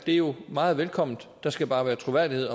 det jo meget velkomment der skal bare være troværdighed